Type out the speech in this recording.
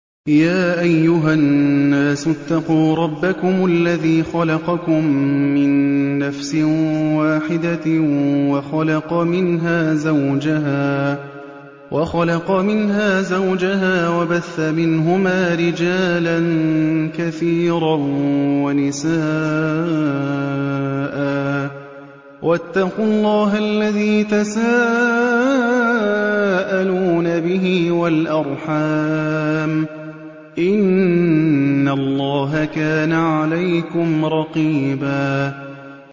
يَا أَيُّهَا النَّاسُ اتَّقُوا رَبَّكُمُ الَّذِي خَلَقَكُم مِّن نَّفْسٍ وَاحِدَةٍ وَخَلَقَ مِنْهَا زَوْجَهَا وَبَثَّ مِنْهُمَا رِجَالًا كَثِيرًا وَنِسَاءً ۚ وَاتَّقُوا اللَّهَ الَّذِي تَسَاءَلُونَ بِهِ وَالْأَرْحَامَ ۚ إِنَّ اللَّهَ كَانَ عَلَيْكُمْ رَقِيبًا